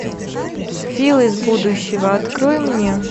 фил из будущего открой мне